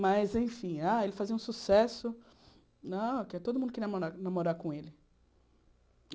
Mas, enfim, ah ele fazia um sucesso que todo mundo queria manda namorar com ele.